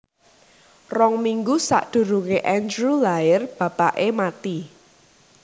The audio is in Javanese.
Rong minggu sakdurunge Andrew lair bapake mati